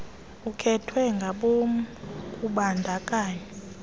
okhethwe ngabom kubandakanyo